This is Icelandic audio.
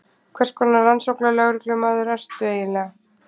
Hvers konar rannsóknarlögreglumaður ertu eiginlega?